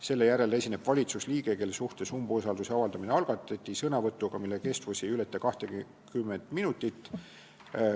Selle järel esineb valitsusliige, kelle suhtes umbusalduse avaldamine algatati, sõnavõtuga, mille kestus ei või ületada 20 minutit.